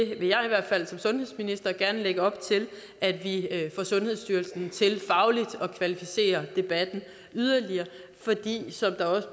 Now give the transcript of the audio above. i hvert fald som sundhedsminister gerne lægge op til at vi får sundhedsstyrelsen til fagligt at kvalificere debatten yderligere fordi der som der også